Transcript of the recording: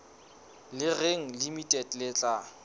le reng limited le tla